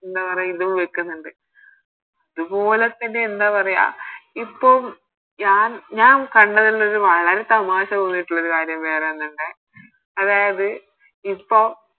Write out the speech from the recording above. എന്താ പറയാ ഇതും വെക്കുന്നുണ്ട് ഇതുപോലെ തന്നെ എന്ത പറയാ ഇപ്പൊ ഞാൻ ഞാൻ കണ്ടതിൽ നിന്നും വളരെ തമാശ തോന്നീട്ടുള്ളൊരു കാര്യം വേറൊന്നുണ്ടേ അതായത് ഇപ്പോം